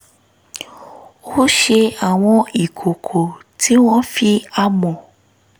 ó ṣe àwọn ìkòkò tí wọ́n fi amọ̀